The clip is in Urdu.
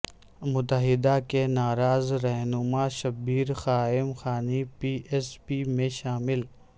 متحدہ کے ناراض رہنما Shabbir Qaim Khani P S P میں شامل